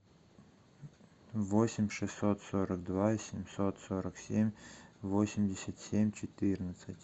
восемь шестьсот сорок два семьсот сорок семь восемьдесят семь четырнадцать